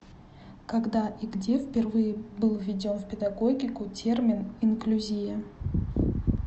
когда и где впервые был введен в педагогику термин инклюзия